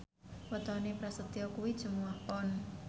wetone Prasetyo kuwi Jumuwah Pon